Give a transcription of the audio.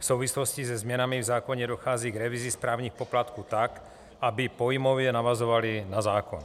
V souvislosti se změnami v zákoně dochází k revizi správních poplatků tak, aby pojmově navazovaly na zákon.